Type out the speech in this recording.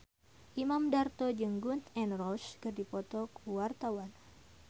Imam Darto jeung Gun N Roses keur dipoto ku wartawan